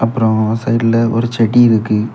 அப்புறம் சைட்ல ஒரு செடி இருக்கு.